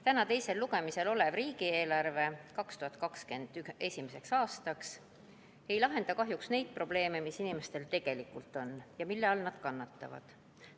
Täna teisel lugemisel olev riigieelarve 2021. aastaks ei lahenda kahjuks neid probleeme, mis inimestel tegelikult on ja mille all nad kannatavad.